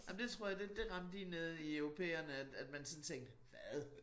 Ej men det tror det det ramte lige ned i europæerne at at man sådan tænkte hvad